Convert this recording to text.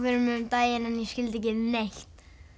um daginn en ég skildi ekki neitt